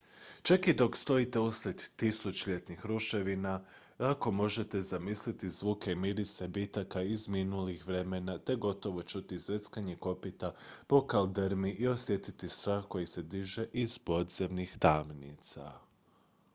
čak i dok stojite usred tisućljetnih ruševina lako možete zamisliti zvuke i mirise bitaka iz minulih vremena te gotovo čuti zveckanje kopita po kaldrmi i osjetiti strah koji se diže iz podzemnih tamnica